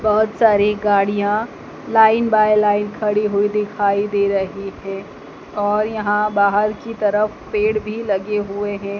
बहोत सारी गाड़ियाँ लाइन बाय लाइन खड़ी हुई दिखाई दे रही है और यहाँ बाहर की तरफ पेड़ भी लगे हुए हैं।